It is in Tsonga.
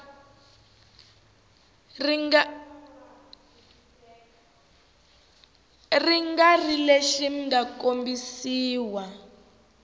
nga ri lexi mga kombisiwa